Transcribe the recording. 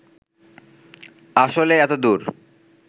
আসলে এত দূর